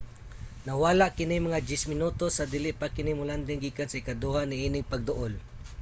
nawala kini mga 10 minutos sa dili pa kini mo-landing gikan sa ikaduha niining pagduol